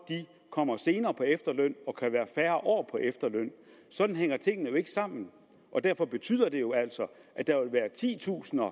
kommer senere på efterløn og kan være færre år på efterløn sådan hænger tingene jo ikke sammen og derfor betyder det jo altså at der vil være titusinder af